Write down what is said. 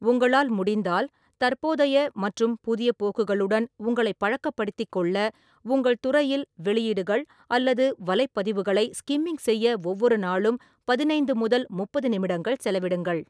உங்களால் முடிந்தால், தற்போதைய மற்றும் புதிய போக்குகளுடன் உங்களைப் பழக்கப்படுத்திக் கொள்ள உங்கள் துறையில் வெளியீடுகள் அல்லது வலைப்பதிவுகளை ஸ்கிம்மிங் செய்ய ஒவ்வொரு நாளும் பதினைந்து முதல் முப்பது நிமிடங்கள் செலவிடுங்கள்.